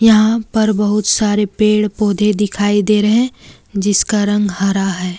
यहां पर बहुत सारे पेड़ पौधे दिखाई दे रहे हैं जिसका रंग हरा है।